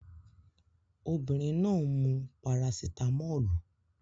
Obinrin naa n mu parasitámọ́lù